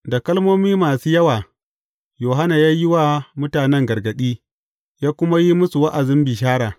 Da kalmomi masu yawa Yohanna ya yi wa mutane gargaɗi, ya kuma yi musu wa’azin bishara.